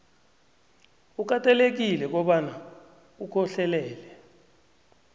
ukatelelekile kobana ukhohlelele